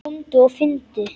Komdu og finndu!